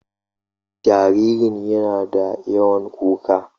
Jaririn yana da yawan kuka